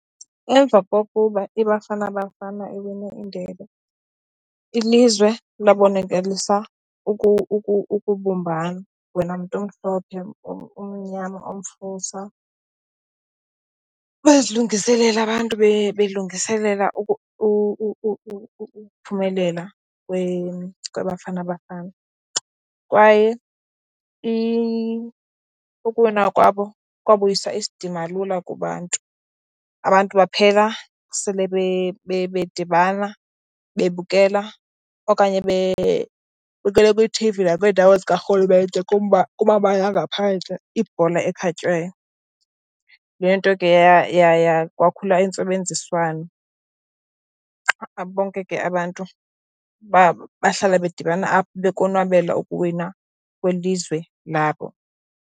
Emva kokuba iBafana Bafana iwine indebe, ilizwe labokalisa ukubumbana, wena mntu umhlophe, umnyama, umfusa. Bazilungiselela abantu, belungiselela ukuphumelela kweBafana Bafana kwaye ukuwina kwabo kwabuyisa isidima lula kubantu. Abantu baphela sele bedibana, bebukela okanye bebukele kwiiT_V nakwiindawo zikarhulumente, kumabala angaphandle ibhola ekhatywayo. Loo nto ke kwakhula intsebenziswano, bonke ke abantu bahlala bedibana apho bekonwabele ukuwina kwelizwe labo.